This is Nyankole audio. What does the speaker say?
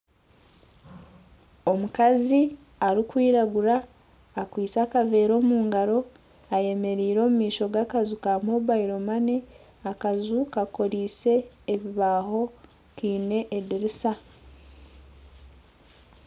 Omukazi arikwiragura akwitse akavera omu ngaaro ayemereire omu maisho g'akaju ka mobile money akaju kakorise ebibaho kaine edirisa.